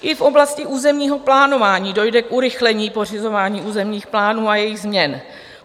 I v oblasti územního plánování dojde k urychlení pořizování územních plánů a jejich změn.